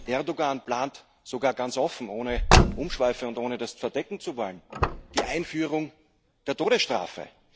Erdoğan plant sogar ganz offen, ohne Umschweife und ohne das verdecken zu wollen die Einführung der Todesstrafe.